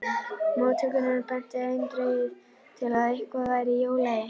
Móttökurnar bentu eindregið til að eitthvað væri í ólagi.